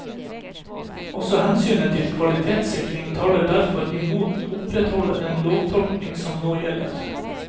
Også hensynet til kvalitetssikring taler derfor imot å opprettholde den lovtolkning som nå gjelder.